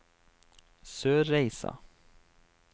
Sørreisa